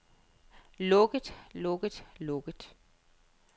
lukket lukket lukket